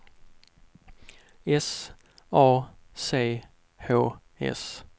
S A C H S